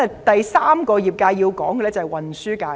第三個要提及的業界是運輸界。